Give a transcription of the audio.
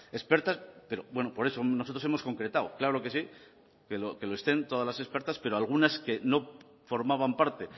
expertas pero bueno por eso nosotros hemos concretado claro que sí que lo estén todas las expertas pero algunas que no formaban parte